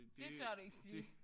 Det gør du ikke sige